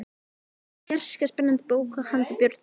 Þetta er fjarska spennandi bók handa börnum.